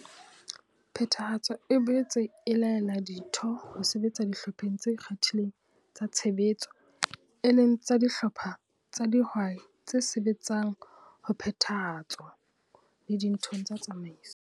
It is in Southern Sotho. Phethahatso e boetse e laela ditho ho sebetsa Dihlopheng tse ikgethileng tsa Tshebetso WG, e leng tsa dihlopha tsa dihwai tse sebetsang ho Phethahatso le dithong tsa tsamaiso.